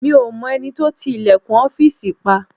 Mi ò mọ ẹni tó ti ilẹ̀kùn ọ́fìsì pa